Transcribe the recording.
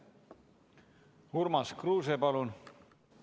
Urmas Kruuse, palun!